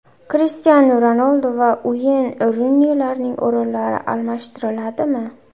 Krishtianu Ronaldu va Ueyn Runilarning o‘rinlari almashtiriladimi!?